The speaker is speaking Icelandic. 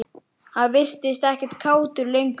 Hann virtist ekkert kátur lengur.